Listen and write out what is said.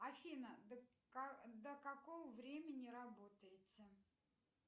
афина до какого времени работаете